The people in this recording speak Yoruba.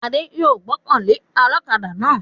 Adé yòó gbọ́kàn lé ọlọ́kaadà náà